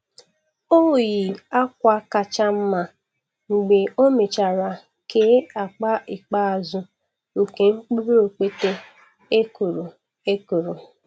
O yi akwa kacha mma mgbe ọ mechara kee akpa ikpeazụ nke mkpụrụ okpete e kụrụ. e kụrụ.